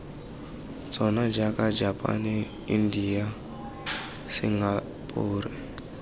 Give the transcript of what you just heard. tsona jaaka japane india singapore